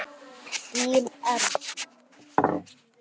Þín Erna.